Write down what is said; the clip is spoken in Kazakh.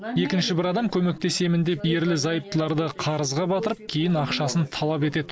екінші бір адам көмектесемін деп ерлі зайыптыларды қарызға батырып кейін ақшасын талап етеді